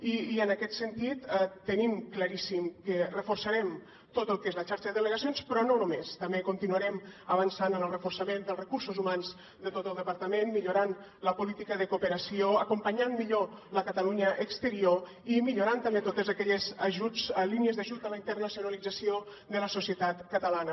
i en aquest sentit tenim claríssim que reforçarem tot el que és la xarxa de delegacions però no només també continuarem avançant en el reforçament dels recursos humans de tot el departament millorant la política de cooperació acompanyant millor la catalunya exterior i millorant també totes aquelles línies d’ajut a la internacionalització de la societat catalana